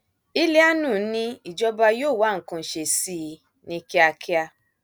ìlíàánú ni ìjọba yóò wá nǹkan ṣe sí i ní kíákíá